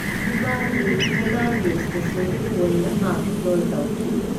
ꯀ꯭ꯌꯨꯕꯥꯒꯤ ꯍꯔꯅꯥꯟꯗꯦꯖꯇꯁꯨ ꯀꯣꯏꯟ ꯑꯃ ꯈꯨꯗꯣꯜ ꯇꯧꯈꯤ ꯫